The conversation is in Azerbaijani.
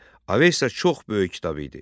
Avesta çox böyük kitab idi.